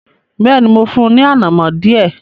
Bẹ́ẹ̀ni, mo fún un ní “ànàmọ́” díẹ̀.